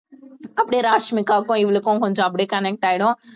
அப்படியே ராஷ்மிகாவுக்கும் இவளுக்கும் கொஞ்சம் அப்படியே connect ஆயிடும்